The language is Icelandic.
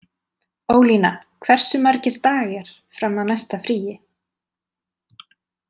Ólína, hversu margir dagar fram að næsta fríi?